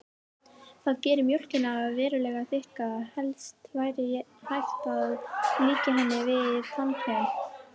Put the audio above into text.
Það gerir mjólkina verulega þykka, helst væri hægt að líkja henni við tannkrem.